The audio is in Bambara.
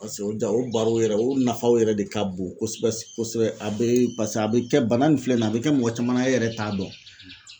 Paseke o jaw o barow yɛrɛ o nafaw yɛrɛ de ka bon kosɛbɛ kosɛbɛ a bɛ paseke a bɛ kɛ bana nin filɛ nin ye a bɛ kɛ mɔgɔ caman na e yɛrɛ t'a dɔn.